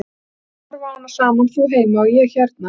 Við ætlum að horfa á hana saman, þú heima og ég hérna.